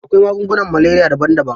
Akwai magungunan maleriya daban-daban.